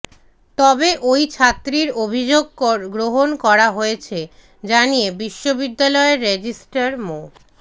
তবে ওই ছাত্রীর অভিযোগ গ্রহণ করা হয়েছে জানিয়ে বিশ্ববিদ্যালয়ের রেজিস্ট্রার মো